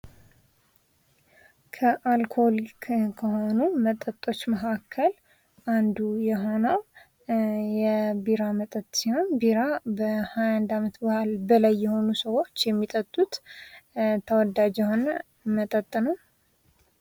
ከአልኮኒክ ከሆኑ መጠጦች መካከል አንዱ የሆነው የቢራ መጠጥ ሲሆን ከሃያ አንድ ዓመት በላይ የሆኑ ሰዎች የሚጠጡት ተወዳጅ የሆነ መጠጥ ነው።